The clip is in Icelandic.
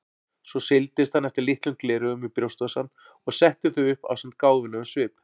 Svo seildist hann eftir litlum gleraugum í brjóstvasann og setti þau upp ásamt gáfulegum svip.